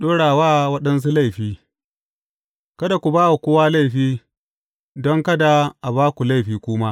Ɗora wa waɗansu laifi Kada ku ba wa kowa laifi, don kada a ba ku laifi ku ma.